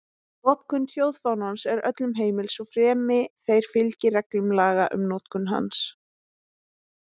Notkun þjóðfánans er öllum heimil, svo fremi þeir fylgi reglum laga um notkun hans.